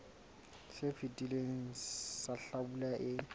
se fetileng sa hlabula e